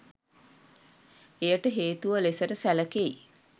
එයට හේතුව ලෙසට සැලකෙයි.